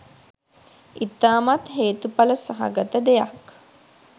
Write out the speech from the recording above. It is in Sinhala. ඉතාමත් හේතුඵල සහගත දෙයක්.